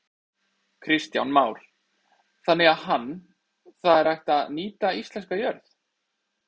Kristján Már: Þannig að hann, það er hægt að nýta íslenska jörð?